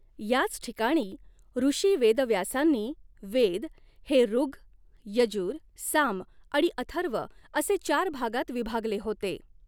याच ठिकाणी ऋषी वेदव्यासांनी वेद हे ऋग्, यजुर्, साम आणि अथर्व असे चार भागांत विभागले होते.